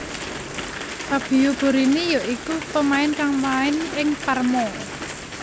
Fabio Borini ya iku pemain kang main ing Parma